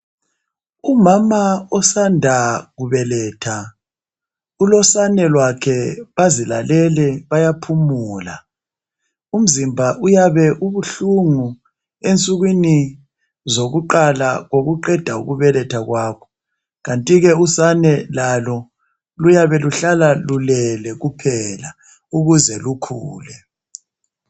Umama osanda kubeletha ulosane lwakhe bazilalele bayaphumula umzimba uyabe ubuhlungu ensukwini zokuqala kokuqeda ukubeletha kwabo kanti ke usane lalo luyabe luhlala lulele kuphela ukuze lukhule.